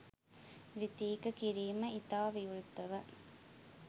ද්විතීක කිරීම ඉතා විවෘතව